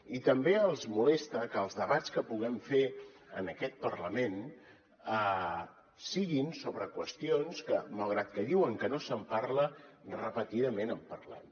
i també els molesta que els debats que puguem fer en aquest parlament siguin sobre qüestions que malgrat que diuen que no se’n parla repetidament en parlem